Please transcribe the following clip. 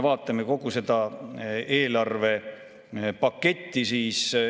Vaatame kogu seda eelarvepaketti.